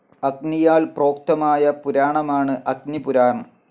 അഗ്നിയാൽ പ്രോക്തമായ പുരാണമാണ് അഗ്നിപുരാണം.